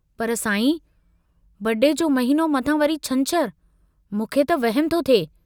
पर साईं... बड़े जो महिनो मथां वरी छंछरु, मूंखे त वहमु थो थिए।